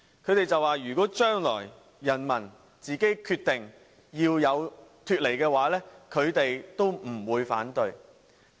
他們說如果將來人民自己決定脫離中國，他們也不會反對。